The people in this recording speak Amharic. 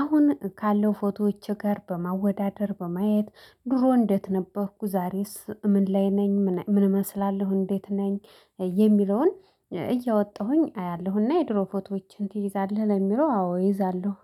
አሁን ካለው ፎቶዎች ጋር በማወዳደር በማየት ድሮ እንዴት ነበርኩ ዛሬስ ምን ላይ ነኝ ምን እመስላለሁ እንዴት ነኝ። የሚለውን እያወጣሁኝ አያለሁና የድሮ ፎቶዎችን ትይዛለህ ለሚለው አዎ እይዛለሁ